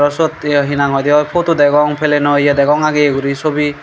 sot hi hinang hoide oi potu degong pelenoye ageye guri sobi.